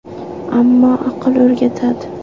– Ammo aql o‘rgatadi.